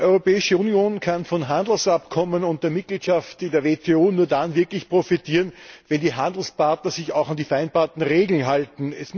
Die Europäische Union kann von Handelsabkommen und der Mitgliedschaft in der WTO nur dann wirklich profitieren, wenn die Handelspartner sich auch an die vereinbarten Regeln halten.